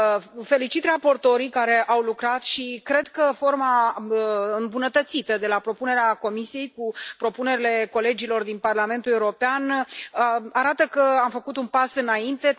Îi felicit pe raportorii care au lucrat și cred că forma îmbunătățită, de la propunerea Comisiei, cu propunerile colegilor din Parlamentul European, arată că am făcut un pas înainte.